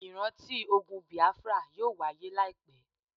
Ìránti ogun Bìáfárà yóò wahyé láìpẹ́.